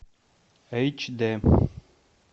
эйч д